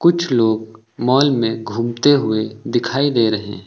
कुछ लोग मॉल में घूमते हुए दिखाई दे रहे हैं।